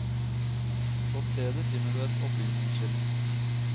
På stedet finner du et opplysningsskilt.